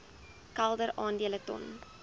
kelder aandele ton